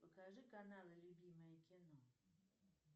покажи каналы любимое кино